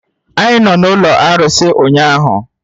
Ị nọ n'ụlọ arụsị ụnyahụ?